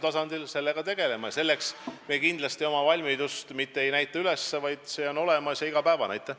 Nii et me kindlasti oma valmidust mitte lihtsalt ei deklareeri, vaid see on iga päev olemas.